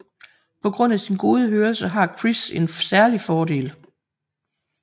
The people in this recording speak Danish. På grund af sin gode hørelse har Chris en særlig fordel